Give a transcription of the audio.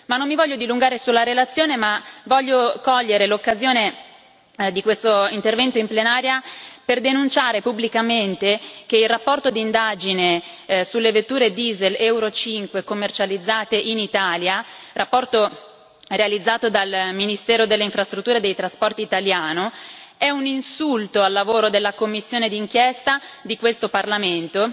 Non mi voglio dilungare sulla relazione, ma voglio cogliere l'occasione di questo intervento in plenaria per denunciare pubblicamente che il rapporto di indagine sulle vetture Diesel Euro 5 commercializzate in Italia, rapporto realizzato dal ministero delle Infrastrutture e dei trasporti italiano, è un insulto al lavoro della commissione di inchiesta di questo Parlamento